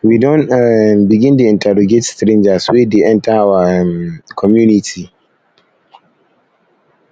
we don um begin dey interrogate strangers wey dey enter our um community